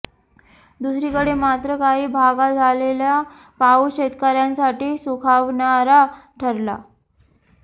दुसरीकडे मात्र काही भागात झालेला पाऊस शेतकऱ्यांसाठी सुखावणारा ठरला